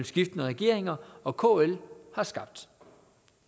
skiftende regeringer og kl har skabt